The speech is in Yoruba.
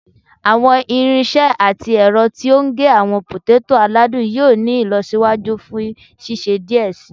Awọn irinṣẹ ati ẹrọ ti o ge awọn poteto aladun yoo ni ilọsiwaju fun ṣiṣe diẹ sii